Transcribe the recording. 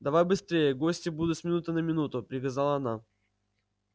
давай быстрее гости будут с минуты на минуту приказала она